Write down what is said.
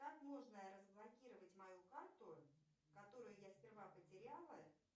как можно разблокировать мою карту которую я сперва потеряла